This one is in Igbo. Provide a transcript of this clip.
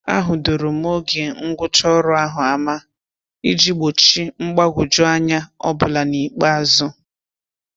A hudoro m oge ngwụcha ọrụ ahụ ama iji gbochi mgbagwoju anya ọbụla n'ikpeazụ.